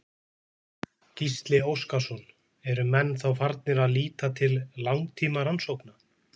Gísli Óskarsson: Eru menn þá farnir að líta til langtímarannsókna?